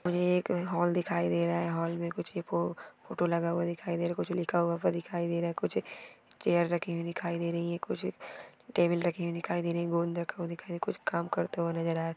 मुझे एक हॉल दिखाई दे रहा हैं हॉल मे कुछ फो फोटो लगा हुआ दिखाई दे रहा है कुछ लिखा हुआ दिखाई दे रहा हैं कुछ चेअर रखी हुई दिखाई दे रही है कुछ टेबल रखी हुई दिखाई दे रही है गोंद रखा हुआ दिखाई दे रहा कुछ काम करते हुए नजर आ रहे है।